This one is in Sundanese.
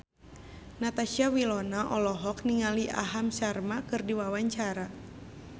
Natasha Wilona olohok ningali Aham Sharma keur diwawancara